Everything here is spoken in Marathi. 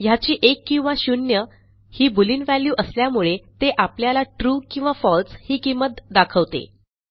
ह्याची एक किंवा शून्य ही बोलियन वॅल्यू असल्यामुळे ते आपल्याला ट्रू किंवा फळसे ही किंमत दाखवते